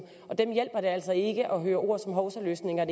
og dem hjælper det altså ikke at høre ord som hovsaløsninger